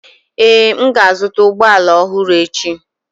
Ee, m ga-azụta ụgbọ ala ọhụrụ echi.